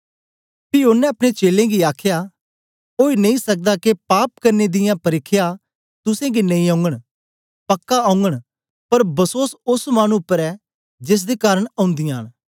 पी ओनें अपने चेलें गी आखया ओई नेई सकदा के पाप करने दियां परिख्या तुसेंगी नेई औगन पक्का औगन पर बसोस ओस मानु उपर ए जेसदे कारन औन्दीयां न